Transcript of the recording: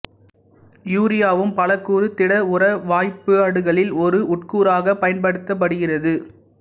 யூரியாவும் பலகூறு திட உர வாய்ப்பாடுகளில் ஒரு உட்கூறாகப் பயன்படுத்தப்படுகிறது